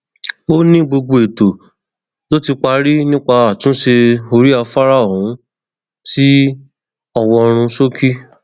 ó ní gbogbo ètò ló ti parí nípa àtúnṣe orí afárá ọhún sí ọwọrunṣókí